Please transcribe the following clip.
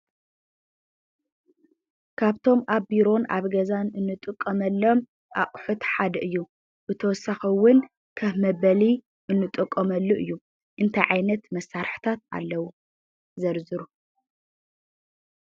ካብቶም ኣብ ቢሮን ኣብ ገዛን ንጥቀመሎም ኣቑሑት ሓደ እዩ፡፡ ብተወሳኺ እውን ኸፍ መበሊ እንጥቀመሉ እዩ፡፡ እንታይ ዓይነት መሳርሕታት ኣለዉ? ዘርዝሩ?